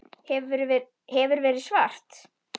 Hefur verið svart.